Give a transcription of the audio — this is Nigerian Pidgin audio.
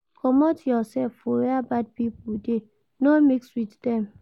Comot your self for where bad pipo de, no mix with dem